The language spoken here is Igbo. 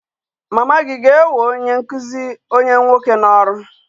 Mama gị ga-ewe onye nkụzi onwe onye nwoke n'ọrụ?